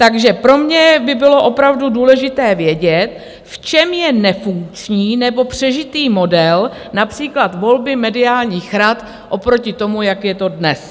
Takže pro mě by bylo opravdu důležité vědět, v čem je nefunkční nebo přežitý model například volby mediálních rad oproti tomu, jak je to dnes.